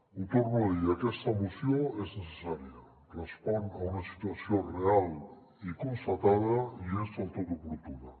ho torno a dir aquesta moció és necessària respon a una situació real i constata·da i és del tot oportuna